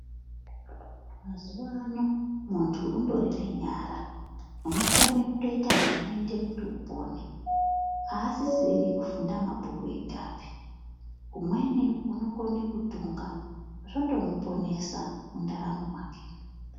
Mazuvano muntu undori nenyara, unokone kutoyita zvinoyita kuti upone. Asisiri kufunda mabhuku egape. Umweni unokone kutunga, zvotomponesa mundaramo make.